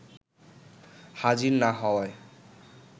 হাজির না হওয়ায়